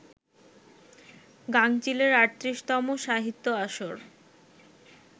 গাঙচিলের ৩৮তম সাহিত্য আসর